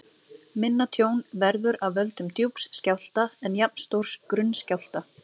Minna tjón verður af völdum djúps skjálfta en jafnstórs grunns skjálfta.